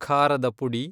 ಖಾರದ ಪುಡಿ